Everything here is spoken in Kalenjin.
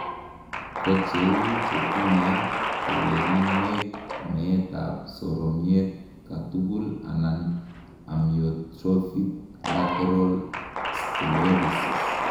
kocheu chetinyei kewelinwek, meet ab soromyet katugul anan amyotrophic lateral sclerosis